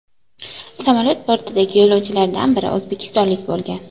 Samolyot bortidagi yo‘lovchilardan biri o‘zbekistonlik bo‘lgan .